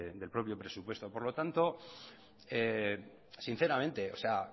del propio presupuesto por lo tanto sinceramente o sea